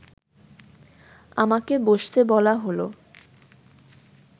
আমাকে বসতে বলা হলো